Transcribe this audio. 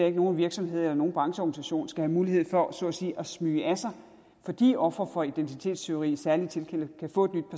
at nogen virksomhed eller nogen brancheorganisation skal have mulighed for så at sige at smyge af sig fordi ofre for identitetstyverier i særlige tilfælde kan få